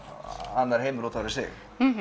annar heimur út af fyrir sig mhm